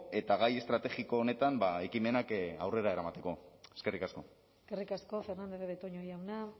eta gai estrategiko honetan ekimenak aurrera eramateko eskerrik asko eskerrik asko fernandez de betoño jauna